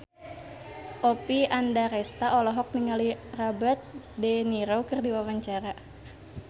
Oppie Andaresta olohok ningali Robert de Niro keur diwawancara